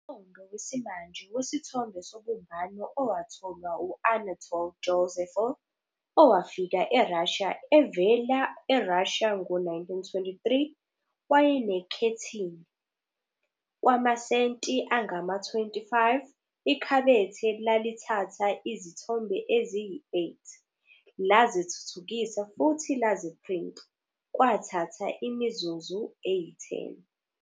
Umqondo wesimanje wesithombe sobumbano owatholwa u-Anatol Josepho, owafika eRussia evela eRussia ngo-1923, wayenekhethini. Kwamasenti angama-25, ikhabethe lalithatha izithombe eziyi-8, lazithuthukisa futhi laziprinta, kwathatha imizuzu eyi-10.